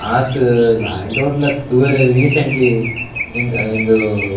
ಆತ್ ಲಾಯ್ಕ್ ದ ಹೊಟೇಲ್ ಅತ್ತ್ ತೂವರೆ ರೀಸೆಂಟ್ಲಿ ಉಂದು --